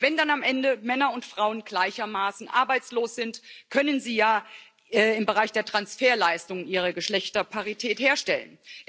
Wenn dann am Ende Männer und Frauen gleichermaßen arbeitslos sind, können sie ja im Bereich der Transferleistungen ihre Geschlechterparität herstellen.